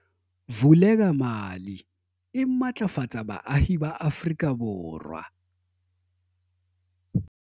Vulekamali e matlafatsa baahi ba Afrika Borwa